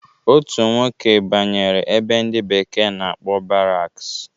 Otu nwoke banyere ebe ndi bekee na-akpọ baraks